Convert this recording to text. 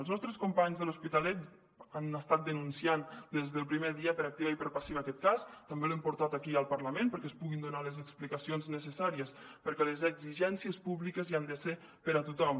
els nostres companys de l’hospitalet han estat denunciant des del primer dia per activa i per passiva aquest cas també l’hem portat aquí al parlament perquè es puguin donar les explicacions necessàries perquè les exigències públiques hi han de ser per a tothom